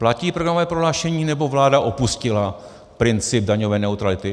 Platí programové prohlášení, nebo vláda opustila princip daňové neutrality?